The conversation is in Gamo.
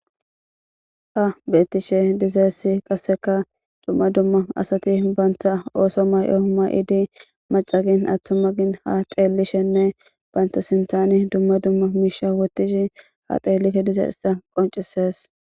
Ha betishe dizays qaseka dumma dumma asati banta oso mayo mayidi maca gin atuma gin ha xelishenne banta sintan dumma dumma misha wotishe ha xelishe dizaysa qoncises